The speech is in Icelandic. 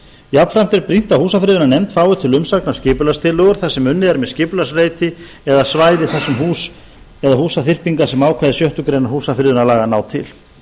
jafnframt er brýnt að húsafriðunarnefnd fái til umsagnar skipulagstillögur þar sem unnið er með skipulagsreiti eða svæði þar sem eru hús eða húsaþyrpingar sem ákvæði sjöttu grein húsafriðunarlaga ná til